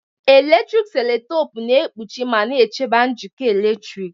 Eletrik sellotape mkpuchi ma na-echebe njikọ eletrik.